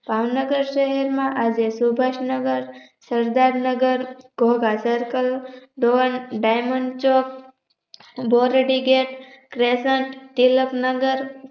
ભાવનગર શહેરમાં આજે Subhashnagar Sardarnagar Dhodha Circledimond chowk Dordi gate Tilaknagar